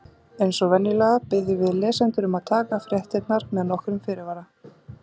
Eins og venjulega biðjum við lesendur um að taka fréttirnar með nokkrum fyrirvara.